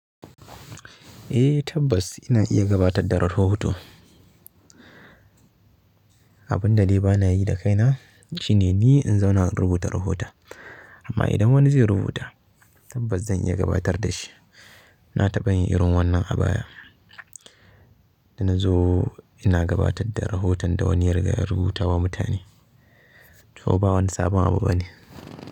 Eh tabbas ina iya gabatar da rahoto. Abin da ni bana yi da kaina shine ni in zauna in rubuta rahota. Amma idan wani zai rubuta tabbas zan iya gabatar da shi. Na taɓa yin irin wannan abaya da na zo ina gabatar da rahoton da wani ya riga ya rubuta wa mutane. To ba wani sabon abu bane.